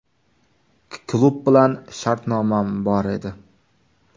Klub bilan shartnomam bor edi.